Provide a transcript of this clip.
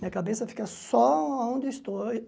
Minha cabeça fica só aonde eu estou.